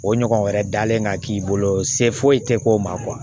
O ɲɔgɔn wɛrɛ dalen ka k'i bolo se foyi te k'o ma kuwa